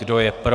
Kdo je pro?